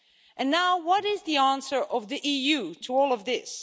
And now, what is the answer of the EU to all of this?